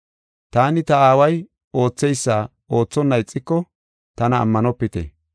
Taani ta Aaway ootheysa oothonna ixiko tana ammanopite.